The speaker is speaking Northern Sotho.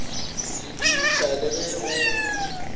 la tissa le ge go